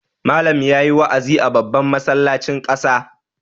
Malam ya yi wa'azi a babban masallacin ƙasa.